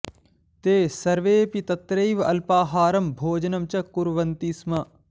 ते सर्वेऽपि तत्रैव अल्पाहारं भोजनं च कुर्वन्ति स्म